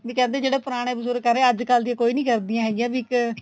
ਵੀ ਕਹਿੰਦੇ ਜਦੋਂ ਪੁਰਾਣੇ ਬਜੁਰਗ ਕਹਿ ਰਹੇ ਏ ਅੱਜਕਲ ਦੀ ਕੋਈ ਨੀਂ ਕਰਦੀ ਹੈਗੀਆਂ ਵੀ ਇੱਕ